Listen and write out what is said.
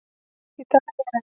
Í dag er